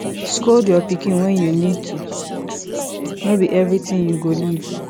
scold your pikin when you need to no be everything you go leave